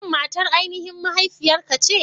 Shin matar aininhin mahaifiyarka ce?